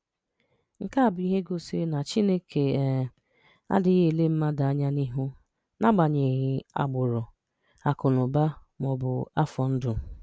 Nke a bụ ihe gosiri na Chineke um anaghị ele mmadụ anya n’ihu n’agbanyeghị agbụrụ, akụnụba, ma ọ bụ afọ ndụ.